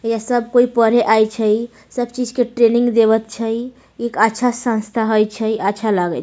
ये सब कोई पढ़े आइ छै सब चीज के ट्रेनिंग देवत छै एक अच्छा संस्था हई छै अच्छा लागे --